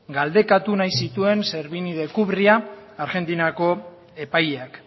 galdekatu nahi zituen servini de cubría argentinako epaileak